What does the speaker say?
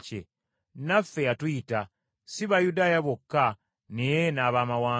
Naffe yatuyita, si Bayudaaya bokka naye n’Abaamawanga.